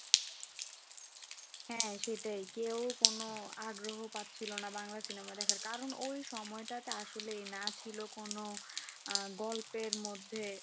হ্যাঁ সেটাই কেউ কোন আগ্রহ পাচ্ছিল না বাংলা cinema দেখার কারণ ওই সময়টাতে আসলেই না ছিল কোন, আহ গল্পের মধ্যে